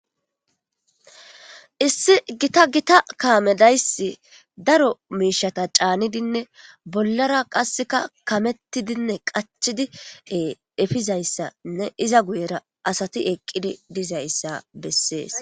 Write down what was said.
issi gita gita kaamedaysi daro miishata caanidinne bollara qasseka kamettidinne qachidi efizayssainne iza guyera asati eqqidi dizayssa bessees